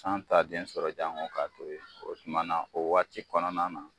San t'a den sɔrɔ janko ka to yen o tuma na o waati kɔnɔna na.